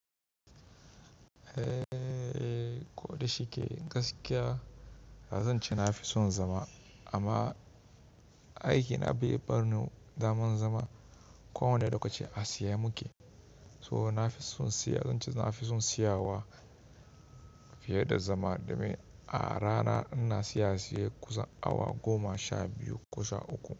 Eh, ko da shike gaskiya zan ce na fi son zama amma aikina bai bar ni zaman zama. Kowa ne lokaci a tsaye muke. So na fi son tsiya, zan ce na fi son tsiyawa fiye da zama domin a rana ina tsiya siya kusan awa goma sha biyu ko sha uku.